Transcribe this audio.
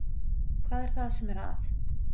Hvað er það sem er að?